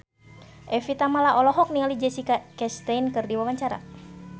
Evie Tamala olohok ningali Jessica Chastain keur diwawancara